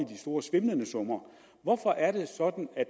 store svimlende summer hvorfor er det sådan at